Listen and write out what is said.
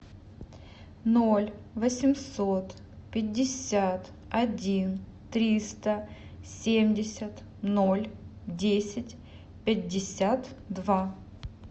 ноль восемьсот пятьдесят один триста семьдесят ноль десять пятьдесят два